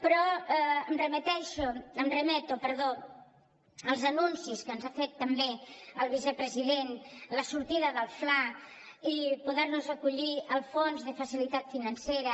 però em remeto perdó als anuncis que ens ha fet també el vicepresident la sortida del fla i poder nos acollir al fons de facilitat financera